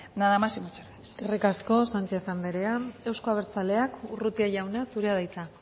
nada más y muchas gracias eskerrik asko sanchez andrea euzko abertzaleak urrutia jauna zurea da hitza